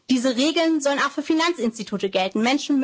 Diese Regeln sollen auch für Finanzinstitute